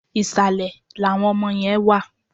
Ìsàlẹ̀ làwọn ọmọ yẹn wà.